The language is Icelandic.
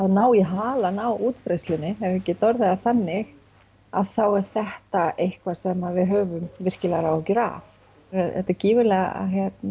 ná í halann á útbreiðslunni ef ég get orðað það þannig að þá er þetta eitthvað sem að við höfum virklega áhyggjur af þetta er gífurlega